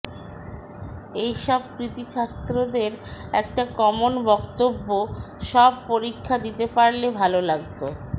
এইসব কৃতী ছাত্রদের একটা কমন বক্তব্য সব পরীক্ষা দিতে পারলে ভাল লাগত